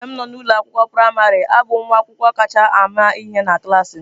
Mgbe m nọ n'ụlọ akwụkwọ praịmarị, abụ m nwa akwụkwọ kacha ama ihe na klas m.